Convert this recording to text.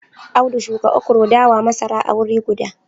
Audu shuka okro, dawa, masara a wuri guda